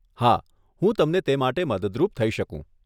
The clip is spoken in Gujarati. હા, હું તમને તે માટે મદદરૂપ થઇ શકું.